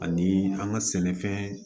Ani an ka sɛnɛfɛn